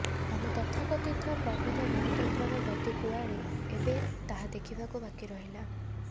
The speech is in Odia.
ଆମ ତଥାକଥିତ ପ୍ରବୃଦ୍ଧ ଗଣତନ୍ତ୍ରର ଗତି କୁଆଡ଼େ ଏବେ ତାହା ଦେଖିବାକୁ ବାକି ରହିଲା